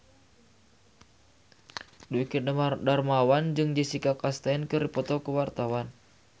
Dwiki Darmawan jeung Jessica Chastain keur dipoto ku wartawan